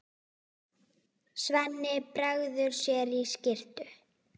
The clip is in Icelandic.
Svenni bregður sér í skyrtu.